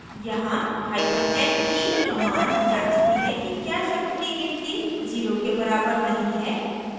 यहाँ hyphen ne command जाँचती है कि क्या शब्द की गिनती zero के बराबर नहीं है